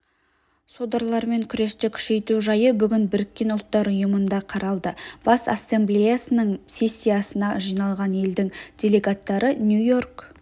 содырлармен күресті күшейту жайы бүгін біріккен ұлттар ұйымында қаралды бас ассамблеясының сессиясына жиналған елдің делегаттары нью-йорк